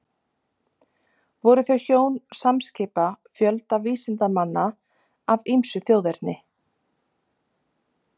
Voru þau hjón samskipa fjölda vísindamanna af ýmsu þjóðerni.